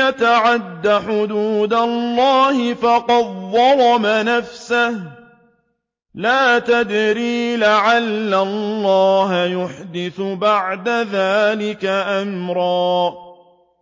يَتَعَدَّ حُدُودَ اللَّهِ فَقَدْ ظَلَمَ نَفْسَهُ ۚ لَا تَدْرِي لَعَلَّ اللَّهَ يُحْدِثُ بَعْدَ ذَٰلِكَ أَمْرًا